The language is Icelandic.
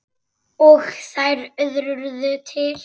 Og þær urðu til.